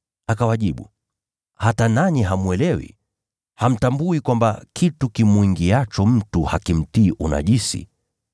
Akawajibu, “Je, hata nanyi hamwelewi? Je, hamfahamu kwamba kitu kimwingiacho mtu hakimtii unajisi?